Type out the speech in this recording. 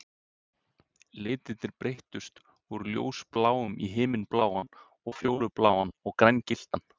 Litirnir breyttust úr ljósbláum í himinbláan og fjólubláan og grængylltan.